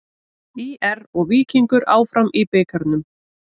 ÍR og Víkingur áfram í bikarnum